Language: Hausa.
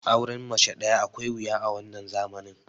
auren mace daya akwai wuya a wannan zamani